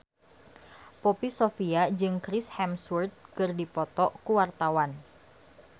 Poppy Sovia jeung Chris Hemsworth keur dipoto ku wartawan